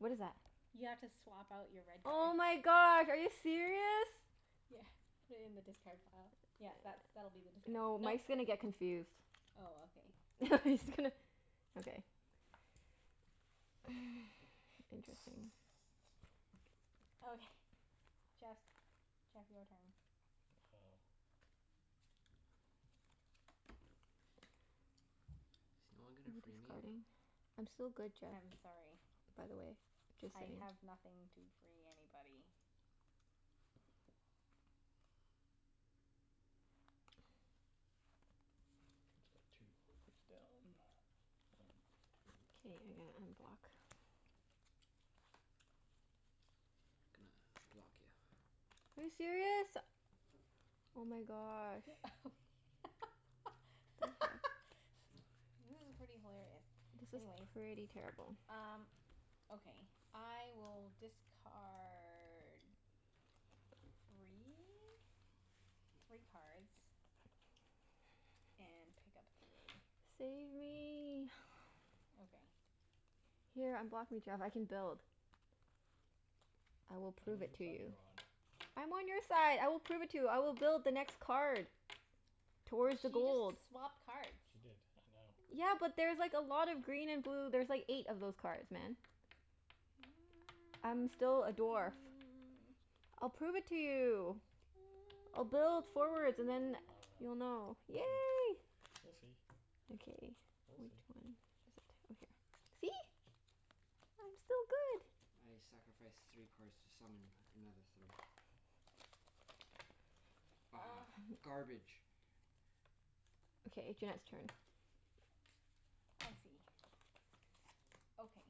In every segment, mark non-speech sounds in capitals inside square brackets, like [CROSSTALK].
What is that? is that? You have to swap out your red Oh card. my god, are you serious? Yeah, put it in the discard pile. Yeah, that's, that'll be the discard pile. No, Mike's Mike's gonna get confused. Oh, okay. [LAUGHS] I'm just gonna Okay. [NOISE] [LAUGHS] Interesting. [NOISE] Okay. Jeff's. Jeff, your turn. Oh. [NOISE] Is no one Are gonna you free me? discarding? I'm still good, Jeff. I'm sorry. By the way. Just I saying. have nothing to free anybody. It's card two, face down. One K, two. you're gonna unblock [NOISE] Gonna block you. Are you serious? Oh my gosh. Thank you. [LAUGHS] This is pretty hilarious. This is Anyways pretty terrible. Um, okay. I will discard three? Three cards. [NOISE] And pick up three. Save me. [NOISE] Okay. Here, unblock me, Jeff. I can build. I will I prove dunno it whose to side you. you're on. I'm on your side. I will prove it to you. I will build the next card. Towards the She just gold. swapped cards. She did. I know. Yeah, but there's like a lot of green and blue. There's like eight of those cards, man. [NOISE] I'm still a dwarf. [NOISE] I'll prove it to you. I'll build forwards and then I [NOISE] you'll know. dunno. We'll Yay. see. We'll see. Okay, We'll which see. one? Is a two, here. See? I'm still good. [NOISE] I sacrifice three cards to summon another three. Ah! [NOISE] [LAUGHS] Garbage. Okay, Junette's turn. I see. Okay.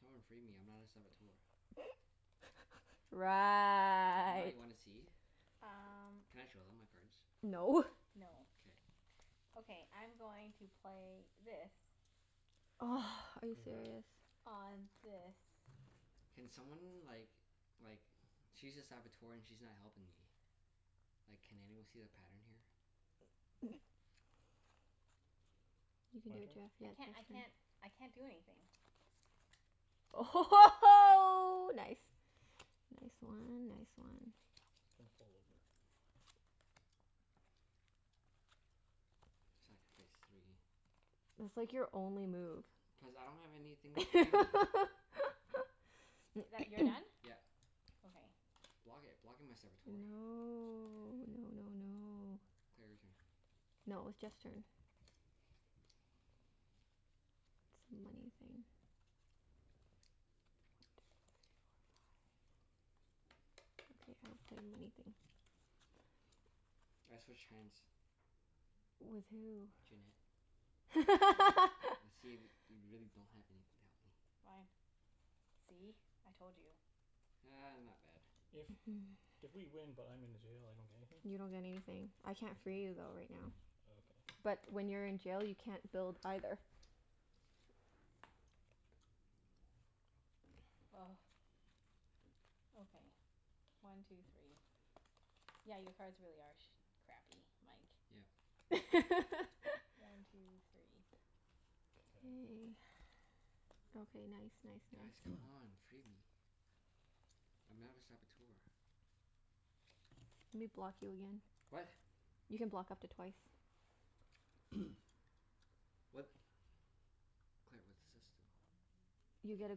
Someone free me. I'm not a Saboteur. [LAUGHS] I'm not. Right. You wanna see? Um Can I show them my cards? No. No. K. Okay, I'm going to play this. [NOISE] Are you [INAUDIBLE] serious? On this. [NOISE] Can someone like like, she's a Saboteur and she's not helping me. Like, can anyone see the pattern here? [LAUGHS] You can do My it, turn? I Jeff. can't I [INAUDIBLE] can't I can't do anything. Oh ho ho ho, nice! Nice one. Nice one. Gonna fall over. [NOISE] Sacrifice three. It's like your only move. Cuz I don't have anything free me. [LAUGHS] I- that, you're done? [NOISE] Yeah. Okay. Block it. Block it, my Saboteur. No. No no no. Claire, your turn. No, it was Jeff's turn. It's a money thing. One two three four five. Okay, I haven't done anything. I switch hands. With who? Junette. Okay. And see [LAUGHS] if y- you really don't have anything to help me. Fine. See? I told you. Ah, not bad. If [NOISE] if we win but I'm in the jail, I don't get anything? You don't get anything. I can't free you though, right now. Okay. But when you're in jail, you can't build, either. [NOISE] Okay. One two three. Yeah, your cards really are sh- crappy, Mike. [NOISE] Yep. One [LAUGHS] two three. K. K. Okay, nice [NOISE] nice Guys, nice. come [NOISE] on. Free me. I'm not a Saboteur. Let me block you again. What? You can block up to twice. [NOISE] [NOISE] What? Claire, what does this do? You get a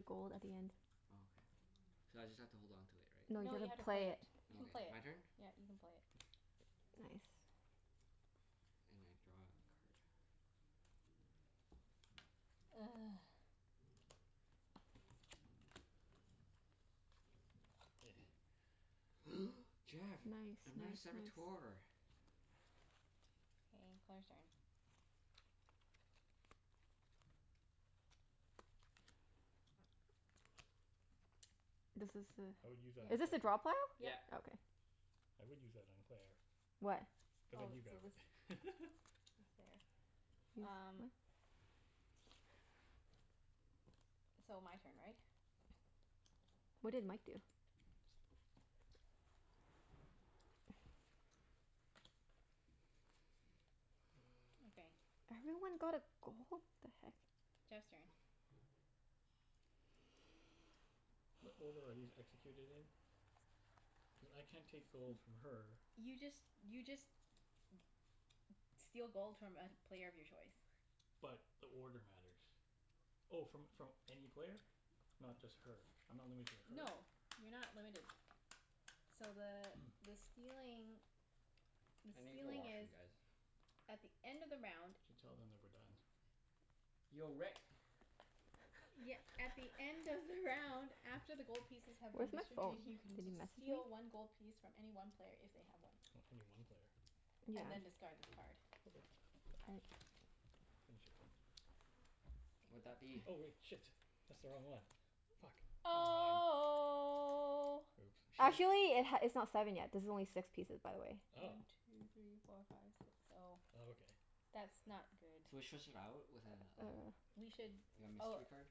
gold at the end. Oh, okay. So I just have to hold on to it, right? No, you've No, you have gotta to play play it. it. You Oh, can play okay. it. My turn? Yeah, you can play it. Nice. And I draw a card. [NOISE] [NOISE] [NOISE] Jeff! Nice nice I'm not a nice. Saboteur. K, Claire's turn. This is I would use that a, on is this a drop hole? Claire. [NOISE] Yeah, Yep. yeah. Okay. I would use that on Claire. What? But then Oh, you grab so this it. [LAUGHS] is there. Use what? Um So, my turn, right? What did Mike do? [NOISE] Okay. Everyone got a gold? [NOISE] The heck? Jeff's turn. What order are these executed in? [NOISE] [NOISE] Cuz I can't take gold N- from her. [NOISE] you just, you just [NOISE] steal gold from a player of your choice. But, the order matters. Oh, from from any player? Not just her? I'm not limited to her? No. You're not limited. So the [NOISE] the stealing [NOISE] the I need the stealing is washroom, guys. at the end of the round Should tell them that we're done. Yo, Rick. [NOISE] Ye- at the end of the round [LAUGHS] after the gold [LAUGHS] pieces have been Where's my phone? distributed, you can Did he d- message me? steal one gold piece from any one player if they have one. O- any one player. Yeah. And then Okay. discard this card. Okay. All right. Finish it then. [NOISE] Would that be Oh [NOISE] wait. Shit. That's the wrong one. Fuck. Never mind. Oh. Oops. Should we Actually it h- it's not seven yet. This is only six pieces, by the way. Oh. One two three four five six, oh. Oh, okay. That's not good. Should we swish out with a like Or We should a oh mystery card?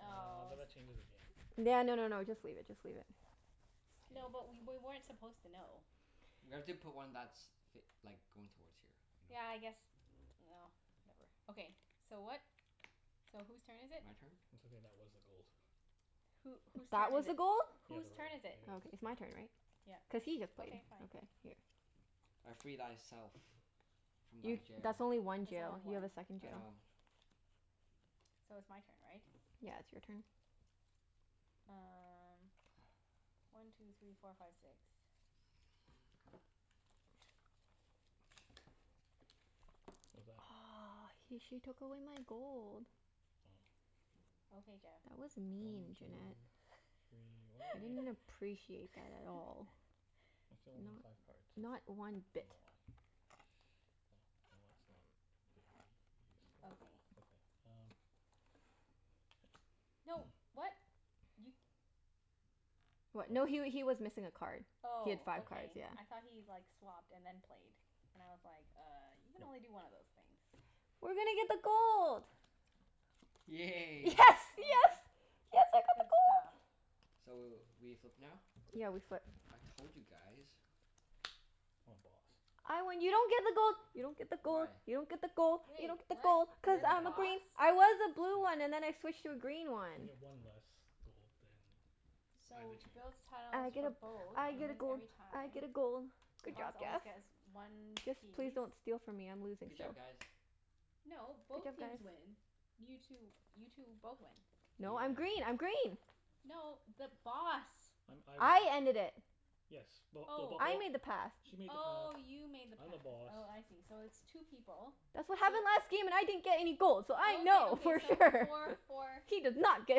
Uh, but s- that changes the game. No no no no, just leave it. Just leave it. No, but K. we wer- [NOISE] weren't supposed to know. We have to put one that's f- like, going towards here, you know? Yeah, I guess, no, whatever. Okay, so what? So whose turn is it? My turn? It's okay, that was the gold. Who, whose That turn was is a it? gold? Yeah, Whose the right turn one. is It it? Okay. is, It's so my turn, right? Yeah. Cuz he just played. Okay, fine. Okay, here. [NOISE] I free thyself. From thy You, jail. that's only one That's jail. only You have a one. second I jail. know. So it's my turn, right? Yeah, it's your turn. Um One two three four five six. What's that? Aw, he, she took away my gold. Oh. Okay, Jeff. That was mean, One two Junette. [NOISE] three, why I didn't don't I appreciate that at all. I [LAUGHS] still only need five Not cards. not one I don't bit. know why. Well, well that's not very useful. Okay. Okay. Um No, [NOISE] what? You What? What? No he wa- he was missing a card. He had Oh, five [NOISE] cards. okay. Yeah. I thought he like, swapped and then played. And I was like, "Uh, you can only No. do one of those things." We're gonna get the gold. Yes, Yay. Oh, yes! yay. Yes, I got the Good gold! stuff. So w- we flip now? Yeah, we flip. I told you guys. I'm a Boss. I win. You don't get the gold! You don't get the gold! Why? You don't get the gold! You Wait, don't get the gold! what? I'm Cuz the You're the I'm a Boss? Boss. green. I was a blue Yeah. one and then I switched to a green one. I get one less gold than either So, builds team. tiles I get for a, both I and get a wins gold. every I get time. a gold. The Good job, Boss always Jeff. gets one Just please piece. don't steal from me. I'm [NOISE] losing Good job, still. guys. No, Good both job, teams guys. win. You two, you two both win. No, I'm Yeah. green. I'm green! No, the Boss. I'm, I win. I ended it. Yes. Well, the Bo- Oh. I oh made the pass. She made the path, Oh, you made the I'm the pass. Boss. Oh, I see. So it's two people. That's what So happened last game and I didn't get any gold so I Okay, know okay, for so sure! four [LAUGHS] for She did not get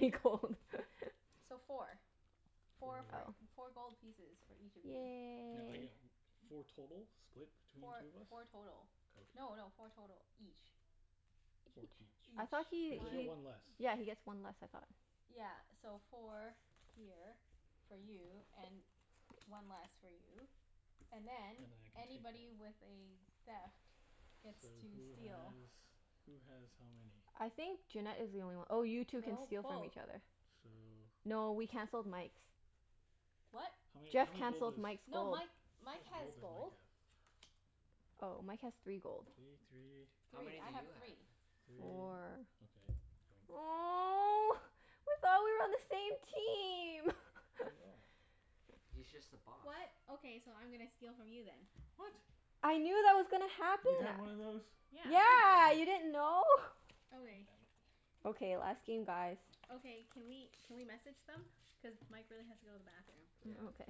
any gold! [LAUGHS] So four. Four Four gold. for, Oh. four gold pieces for each of you. Now I Yay. get w- four total? Split between Four, two of us? four total. Okay. No no, four total each. Four Each. each. I thought Each. he Cuz I get he One one less. Yeah, he gets one less, I thought? Yeah, so four here, for you, and one less for you. And And then, then I can take one. anybody with a theft gets So, to who steal. has who has how many? I think Junette is the only one. Oh, you two can No, steal from both. each other. So No, we canceled Mike's. What? How many, Jeff how many gold cancelled does Mike's No, gold. Mike, How Mike much has gold does Mike gold. have? Oh, Mike has three gold. Three, [NOISE] three How many Three. do I have you have? three. three. Four Okay, yoink. [NOISE] Oh. I thought we were on the same team! We [LAUGHS] are. He's just the boss. [NOISE] What? Okay, so I'm gonna steal from you then. What? I knew that was gonna You had happen. one of those? Yeah. Yeah, you didn't know? God Okay. damn it. Okay, last game, guys. Okay. Can we can we message them? Cuz Mike really has to go to the bathroom. Mm, Yeah. ok-